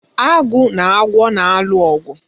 Agụ na agwọ na-alụ ọgụ.